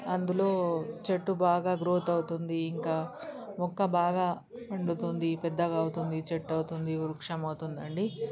అందులో చెట్టు బాగా గ్రోత్ అవుతుంది ఇంకా మొక్క బాగా ఉన్డుతుంది పెద్దగ అవుతుంది చెట్టు అవుతుంది వృక్షం అవుతుంది అండి